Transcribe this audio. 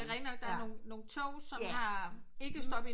Det er rigtig nok der er nogen nogen toge som har ikke stop i